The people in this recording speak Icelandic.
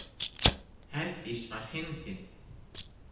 Herdís var fyndin!